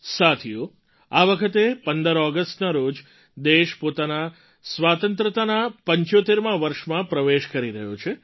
સાથીઓ આ વખતે ૧૫ ઑગસ્ટના રોજ દેશ પોતાના સ્વતંત્રતાના ૭૫મા વર્ષમાં પ્રવેશ કરી રહ્યો છે